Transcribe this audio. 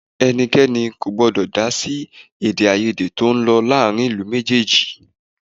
Ẹnikẹ́ni kò gbọ́dọ̀ dási èdèàìyedè tó ń lọ láàárín ìlú méjèèjì!